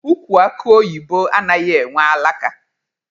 Ukwu akụ oyibo anaghị enwe alaka.